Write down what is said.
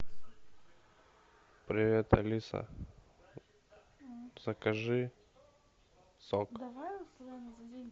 привет алиса закажи сок